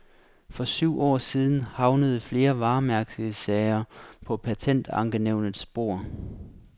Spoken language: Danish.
For syv år siden havnede flere varemærkesager på patentankenævnets bord.